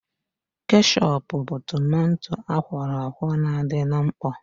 Keshọp bụ tomanto akwọrọ akwọ na-adị na mkpọ